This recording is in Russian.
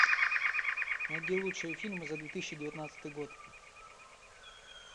найди лучшие фильмы за две тысячи девятнадцатый год